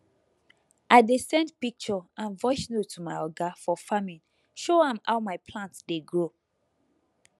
i dey send picture and voice note to my oga for farming show am how my plant dey grow